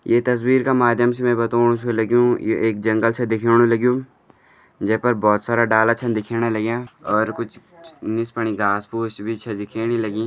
ये तस्वीर का माध्यम से मैं बतौण छ लग्युं ये एक जंगल छ दिखोण लग्युं जै पर बहोत सारा डाला छन दिखेण लग्यां और कुछ निस निस फुण घास फूस छ दिखेणी लगीं।